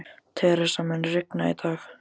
Theresa, mun rigna í dag?